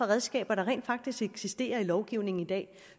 redskaber der rent faktisk eksisterer i lovgivningen i dag